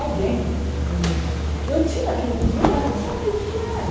Alguém que me... Eu tinha aquilo dentro de mim, mas eu não sabia o que é que era.